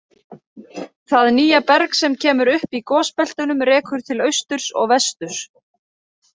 Það nýja berg sem kemur upp í gosbeltunum rekur til austurs og vesturs.